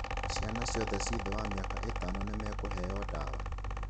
Ciana ciothe ci thĩ wa mĩaka ĩtano nĩmakũheo dawa.